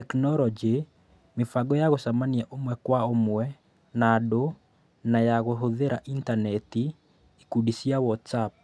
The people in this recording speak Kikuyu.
Tekinoronjĩ: Mĩbango ya gũcemania ũmwe kwa ũmwe na andũ na ya kũhũthĩra intaneti, ikundi cia Whatsapp.